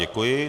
Děkuji.